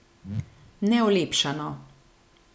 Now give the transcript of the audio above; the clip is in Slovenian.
Neolepšano.